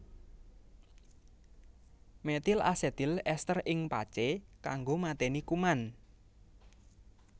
Metil asetil ester ing pacé kanggo matèni kuman